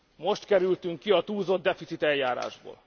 Most kerültünk ki a túlzottdeficit eljárásból.